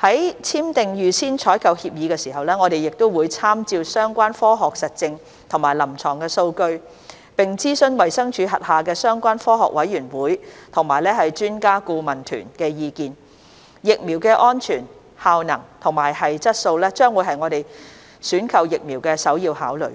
在簽訂預先採購協議時，我們會參照相關科學實證和臨床數據，並諮詢衞生署轄下相關科學委員會及專家顧問團的意見，疫苗的安全、效能和質素將會是我們選購疫苗的首要考慮，